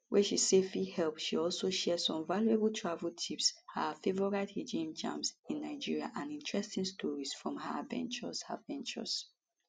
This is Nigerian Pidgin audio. wey she say fit help she also share some valuable travel tips her favorite hidden gems in nigeria and interesting stories from her adventures adventures